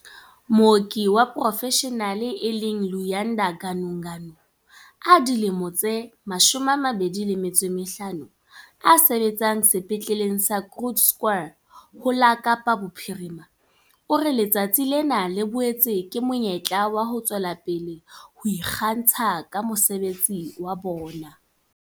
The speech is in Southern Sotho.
Mooki wa porofeshenale e leng Luyanda Ganuganu, a dilemo tse 25, a sebetsang Sepetleleng sa Groote Schuur ho la Kapa Bophirima, o re letsatsi lena le boetse ke monyetla wa ho tswela pele ka ho ikgantsha ka mosebetsi wa bona.